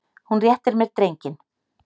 Hún réttir mér drenginn.